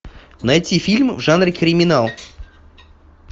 найти фильм в жанре криминал